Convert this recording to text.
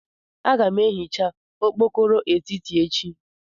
Aga m ehicha okpokoro etiti echi.